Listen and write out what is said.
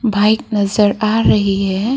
Bike नजर आ रही है।